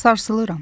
Sarsılıram.